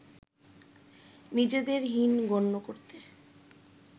নিজেদের হীন গণ্য করত